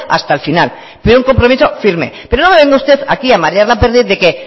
hasta el final pero un compromiso firme pero no me venga usted a marear la perdiz de que